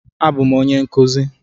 A bụ m onye nkụzi